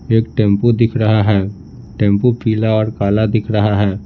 एक टेंपू दिख रहा है टेंपू पीला और काला दिख रहा है।